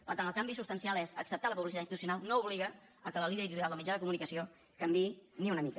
per tant el canvi substancial és acceptar la publicitat institucional no obliga a que la línia editorial del mitjà de comunicació canviï ni una mica